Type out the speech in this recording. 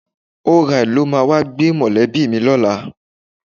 ORide ló máa wá gbé mọ̀lẹ́bí mi lọ́la.